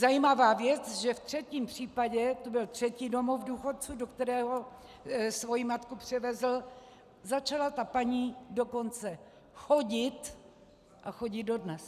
Zajímavá věc, že ve třetím případě - to byl třetí domov důchodců, do kterého svoji matku převezl - začala ta paní dokonce chodit a chodí dodnes.